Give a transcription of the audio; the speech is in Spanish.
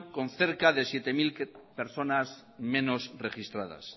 con cerca de siete mil personas menos registradas